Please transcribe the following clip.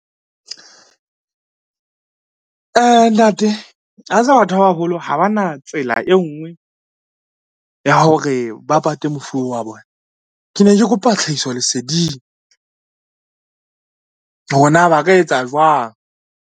Ntate a tseba batho ba baholo ha ba na tsela e ngwe ya hore ba pate mofu oo wa bona. Ke ne ke kopa tlhahiso leseding, hore na ba ka etsa jwang.